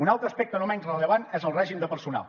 un altre aspecte no menys rellevant és el règim de personal